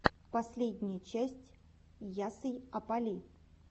последняя часть ясйапали